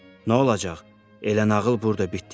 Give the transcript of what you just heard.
Nə olacaq, elə nağıl burda bitdi də.